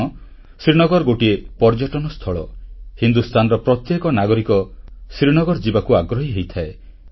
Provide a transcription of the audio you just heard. କାରଣ ଶ୍ରୀନଗର ଗୋଟିଏ ପର୍ଯ୍ୟଟନ ସ୍ଥଳ ହିନ୍ଦୁସ୍ଥାନର ପ୍ରତ୍ୟେକ ନାଗରିକ ଶ୍ରୀନଗର ଯିବାକୁ ଆଗ୍ରହୀ ହୋଇଥାଏ